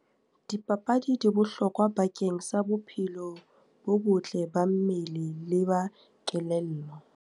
Dipapadi di bohlokwa bakeng sa bophelo bo botle ba mmele, le ba kelello.